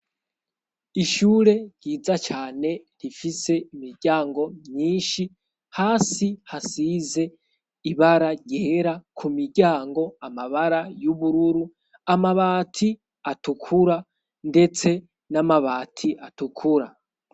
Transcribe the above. Ishure ryiza cane rifise imiryango myinshi; hasi hasize ibararyera, ku miryango amabara y'ubururu, amabati atukura ndetse n'amabati atukura.